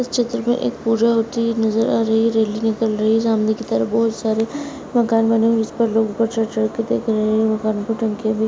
कुरुक्षेत्र में एक पूजा होती हुई नजर आ रही है। रैली निकल रही है। सामने की तरफ बहुत सारे मकान बने उस पर लोग चढ़ चढ़कर के देख रहे हैं। पानी की टंकी अभी --